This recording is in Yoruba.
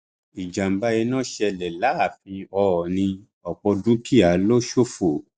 ìjàmbá iná ṣẹlẹ láàfin oòní ọpọ dúkìá ló ṣòfò